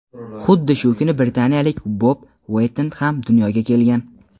Xuddi shu kuni Britaniyalik Bob Ueyton ham dunyoga kelgan.